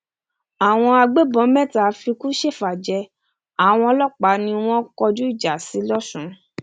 àwọn agbébọn mẹta fikú ṣèfàjẹ àwọn ọlọpàá ni wọn kọjú ìjà sí lọsùn